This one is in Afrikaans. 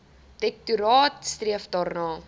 direktoraat streef daarna